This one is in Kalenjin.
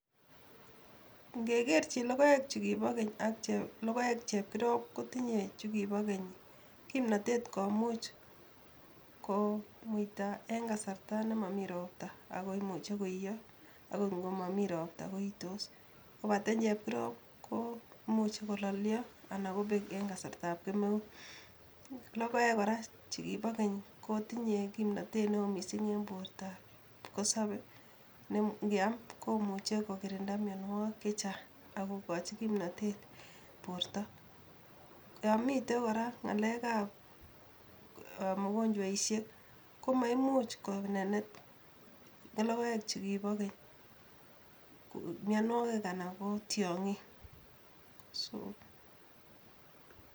Ngekerjin logoek chu kibo keny ak logoek chepkirob kotinyo chukibo keny kimnotet komuch komuita en kasarta nemomi ropta akoimuchi koiyo akot ngomomi ropta koitos, kobate chepkirob komuchi kololyo anan kobeek en kasartab kemeut. Logoek kora che kibo keny kotinye kimnateet neo missing en bortaab kipkosobe ne ngeam komuchi kokirinda mionwogik chechang ak kokoji kimnoteet borto. Yomitei kora ngalekab mogonjwaishek[sc] komaimuch konenet logoek chu kibo keny mianwogik anan ko tiongiik.